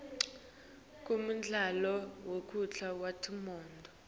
kunemidlalo wemjako wetimoto